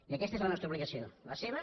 i aquesta és la nostra obligació la seva